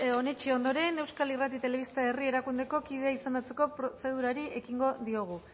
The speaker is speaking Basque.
onetsi ondoren euskal irrati telebista herri erakundeko kide izendatzeko prozedurari ekingo diogu